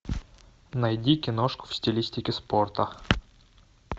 найди киношку в стилистике спорта